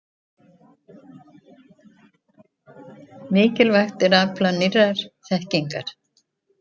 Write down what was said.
Mikilvægt er að afla nýrrar þekkingar.